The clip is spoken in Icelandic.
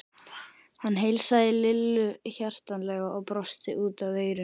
Hann heilsaði Lillu hjartanlega og brosti út að eyrum.